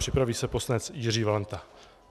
Připraví se poslanec Jiří Valenta.